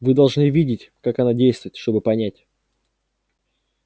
вы должны видеть как она действует чтобы понять